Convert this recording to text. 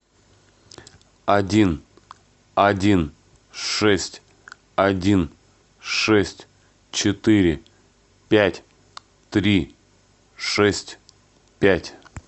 один один шесть один шесть четыре пять три шесть пять